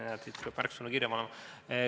Peab vist hakkama märksõnu kirja panema.